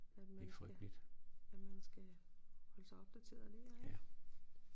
At man skal at man skal holde sig opdateret der ik